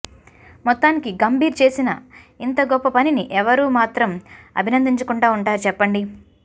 మొత్తానికి గంభీర్ చేసిన ఇంత గొప్ప పనిని ఎవరు మాత్రం అభినందించకుండా ఉంటారు చెప్పండి